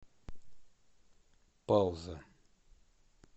пауза